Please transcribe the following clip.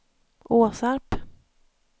Åsarp